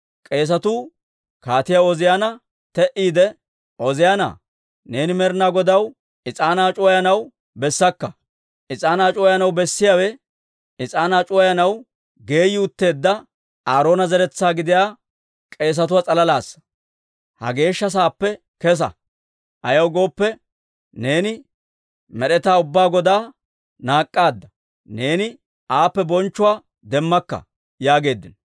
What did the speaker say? K'eesetuu Kaatiyaa Ooziyaana te"iide, «Ooziyaanaa, neeni Med'inaa Godaw is'aanaa c'uwayanaw bessakka. Is'aanaa c'uwayiyaawe bessiyaawe, is'aanaa c'uwayanaw geeyi utteedda, Aaroona zeretsaa gidiyaa k'eesatuwaa s'alalaassa. Ha Geeshsha Sa'aappe kesa! Ayaw gooppe, neeni Med'etaa Ubbaa Godaa naak'aadda; neeni aappe bonchcho demmakka» yaageeddino.